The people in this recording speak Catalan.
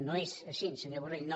no és així senyor borrell no